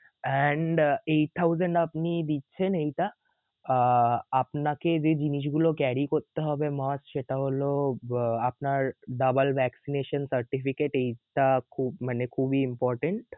and এই thousand আপনি দিচ্ছেন এইটা আহ আপনাকে যে জিনিসগুলো carry করতে হবে must সেটা হল আহ আপনার vaccination certificate এইটা খুব মানে খুবই important